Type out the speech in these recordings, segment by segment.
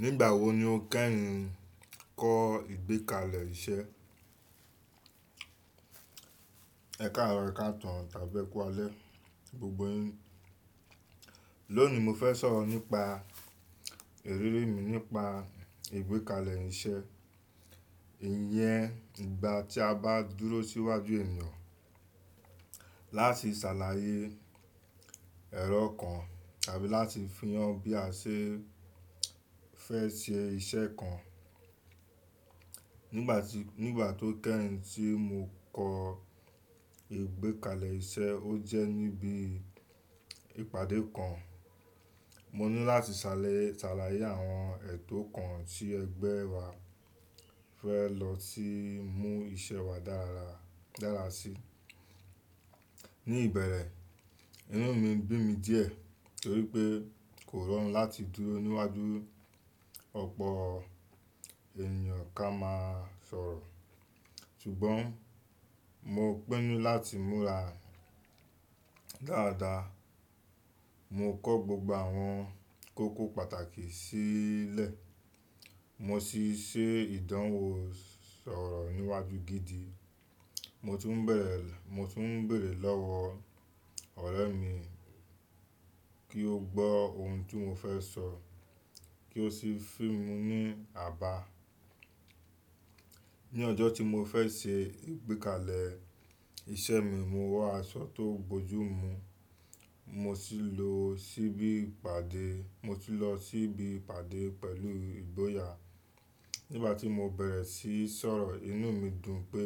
Nígbà wo ni o kẹ́yin kọ ìgbékalẹ̀ iṣẹ́? Ẹ̀karọ ekatan tàbí eku ale gbogbo yín. Lónìí mo fẹ́ sọ̀rọ̀ nípa ìrírí mi nípa ìgbékalẹ̀ iṣẹ́. Ìyẹn ìgbà tí a bá dúró sí iwájú ènìyàn láti ṣàlàyé ẹ̀rọ kan tàbí láti fihàn bí a ṣe fẹ́ ṣe iṣẹ́ kan. Nígbà tí, nígbà tó kẹ́yìn tí mo kọ ìgbékalẹ̀ iṣẹ́, o jẹ́ níbi ìpàdé kan. Mo ní láti ṣàlàyé àwọn ẹ̀tọ́ kan tí ẹgbẹ́ wa fẹ́ lọ sí mú iṣẹ́ wa dára sí. Ni ìbẹ̀rẹ̀, inú mi bí mi díẹ̀ torí pé kò rọrùn láti dúró níwájú ọ̀pọ̀ ènìyàn ká máa sọ̀rọ̀. Ṣùgbọ́n mo pinu láti múra dáadáa. Mo kọ gbogbo àwọn kókó pàtàkì sílẹ̀. Mo sì ṣe ìdánwò sọ̀rọ̀ níwájú gidi. Mo tún bẹ̀rẹ̀, mo tún béèrè lọ́wọ́ ọ̀rẹ́ mi kí ó gbọ́ ohun tí mo fẹ́ sọ kí ó sì fún mi ní àbá. Ni ọjọ́ tí mo fẹ́ ṣe ìgbékalẹ̀ iṣẹ́ mi, mo wọ aṣọ tó bojú mu. Mo sì lọ síbi ìpàdé, mo sì lọ síbi ìpàdé pẹ̀lú ìgboyà. Nígbà tí mo bẹ̀rẹ̀ síí sọ̀rọ̀, inú mi dùn pé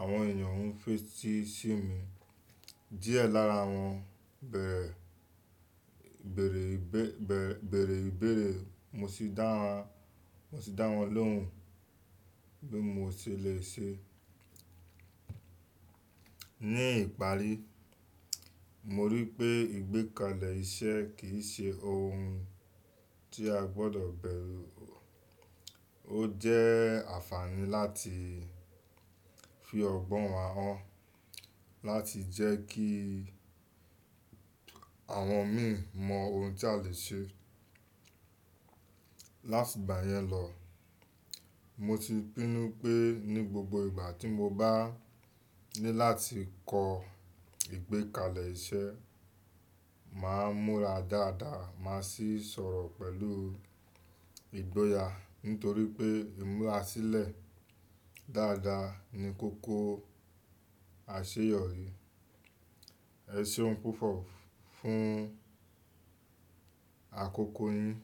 àwọn ènìyàn ń fẹ́ tì í sí mi. Díẹ̀ lára wọn bẹ̀rẹ̀ ìbéèrè, mo sì dá wọn, mo sì dá wọn lóhùn bí mo ṣe le ṣe. Ni ìparí, mo rí i pé ìgbékalẹ̀ iṣẹ́ kì í ṣe ohun tí a gbọdọ̀ bẹ̀rù. O jẹ́ àǹfààní láti fi ọgbọ́n wa hàn, láti jẹ́ kí àwọn mi mọ ohun tí a le ṣe. Láti ìgbà yẹn lọ, mo ti pinu pé ní gbogbo ìgbà tí mo bá ní láti kọ ìgbékalẹ̀ iṣẹ́, màá múra dáadáa. Màá sì sọ̀rọ̀ pẹ̀lú ìgboyà nítorí pé ìmúra sílẹ̀ dáadáa ni kókó àṣeyọrí. Ẹ̀seun púpọ̀ fún àkókò yín.